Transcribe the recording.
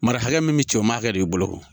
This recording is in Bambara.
Mara hakɛ min me ci o maa hakɛ de bolo ne ko